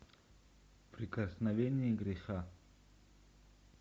прикосновение греха